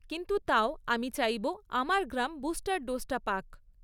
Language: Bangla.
কিন্তু তাও আমি চাইব আমার গ্রাম বুস্টার ডোজটা পাক।